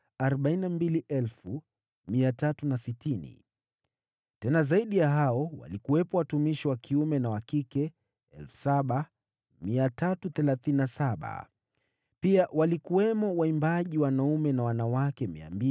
tena zaidi ya hao walikuwepo watumishi wa kiume na wa kike 7,337; pia walikuwamo waimbaji wanaume na wanawake 245.